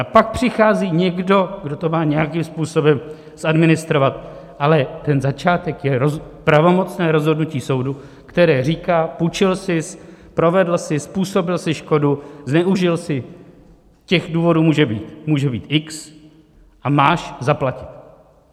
A pak přichází někdo, kdo to má nějakým způsobem zadministrovat, ale ten začátek je pravomocné rozhodnutí soudu, které říká: Půjčil sis, provedl jsi, způsobil jsi škodu, zneužil jsi, těch důvodů může být x a máš zaplatit.